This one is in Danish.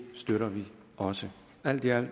støtter vi også alt i alt